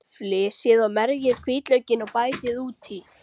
Flysjið og merjið hvítlaukinn og bætið út í.